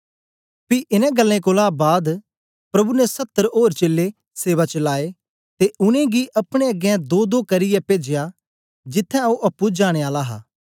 पी इनें गल्लें कोलां बाद प्रभु ने सत्तर ओर चेलें सेवा च लाए ते उनेंगी अपने अगें दोदो करियै पेजया जिथ्थें ओ अप्पुं जाने आला हा